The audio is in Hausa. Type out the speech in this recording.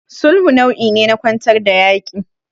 Sulhu nau'i ne na kwantar da yaƙi.